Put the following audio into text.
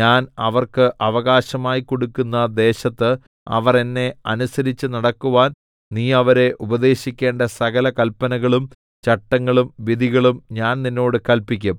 ഞാൻ അവർക്ക് അവകാശമായി കൊടുക്കുന്ന ദേശത്ത് അവർ എന്നെ അനുസരിച്ച് നടക്കുവാൻ നീ അവരെ ഉപദേശിക്കേണ്ട സകല കല്പനകളും ചട്ടങ്ങളും വിധികളും ഞാൻ നിന്നോട് കല്പിക്കും